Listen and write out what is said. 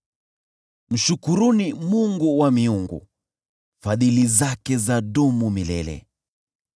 Mshukuruni Mungu wa miungu. Fadhili zake zadumu milele .